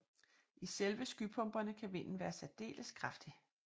I selve skypumperne kan vinden være særdeles kraftig